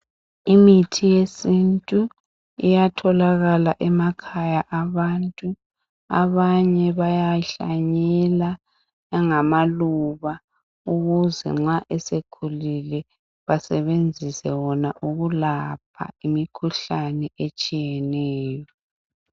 Imithi yesintu iyatholakala emakhaya abantu .Abanye bayahlanyela angamaluba ukuze nxa esekhulile basebenzise wona ukulapha imikhuhlane etshiyeneyo.